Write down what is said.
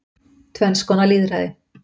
Tvenns konar lýðræði